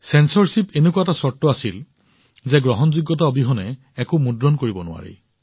চেঞ্চৰশ্বিপৰ এনে অৱস্থা হৈছিল যে গ্ৰহণযোগ্যতা অবিহনে একো মুদ্ৰণ কৰিব নোৱাৰি